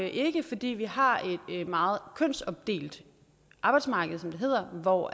ikke fordi vi har et meget kønsopdelt arbejdsmarked som det hedder hvor